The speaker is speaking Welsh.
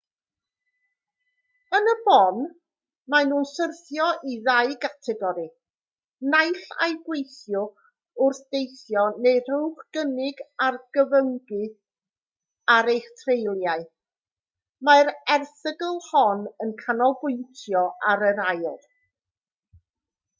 yn y bôn maen nhw'n syrthio i ddau gategori naill ai gweithiwch wrth deithio neu rhowch gynnig ar gyfyngu ar eich treuliau mae'r erthygl hon yn canolbwyntio ar yr ail